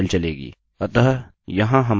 अतः यहाँ हमारी show dot php है